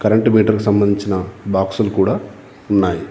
Current meter కు సంబంధించిన బాక్సులు కూడా ఉన్నాయి.